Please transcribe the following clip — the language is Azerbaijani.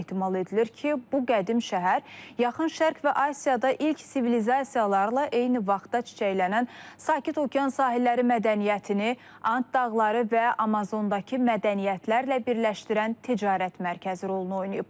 Ehtimal edilir ki, bu qədim şəhər Yaxın Şərq və Asiyada ilk sivilizasiyalarla eyni vaxtda çiçəklənən sakit Okean sahilləri mədəniyyətini, Ant dağları və Amazondakı mədəniyyətlərlə birləşdirən ticarət mərkəzi rolunu oynayıb.